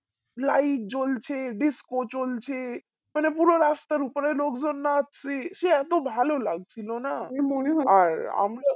light জ্বলছে disco চলছে মানে পুরো রাস্তার উপরে লোকজন নাচছে সে এত ভালো লাগছিল না আর আমরা